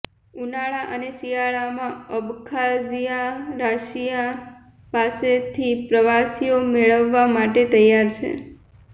ઉનાળા અને શિયાળામાં અબખાઝિયા રશિયા પાસેથી પ્રવાસીઓ મેળવવા માટે તૈયાર છે